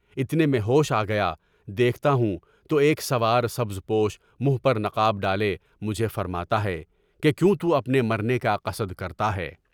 اتنے میں ہوش آگیا، دیکھتا ہوں تو ایک سوار سبز پوش، منہ پر نقاب ڈالے، مجھے فرماتا ہے کہ کیوں تو اپنے مرنے کا قصد کرتا ہے؟